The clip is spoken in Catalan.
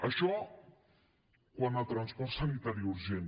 això quant a transport sanitari urgent